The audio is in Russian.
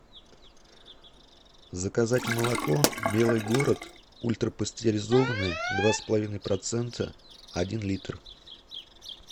заказать молоко белый город ультрапастеризованное два с половиной процента один литр